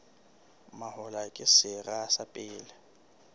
mahola ke sera sa pele